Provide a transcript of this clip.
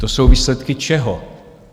To jsou výsledky čeho?